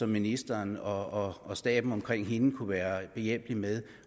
ministeren og og staben omkring hende kunne måske være behjælpelig med